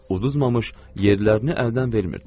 Udulmamış yerlərini əldən vermirdilər.